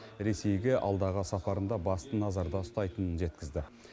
ресейге алдағы сапарында басты назарда ұстайтынын жеткізді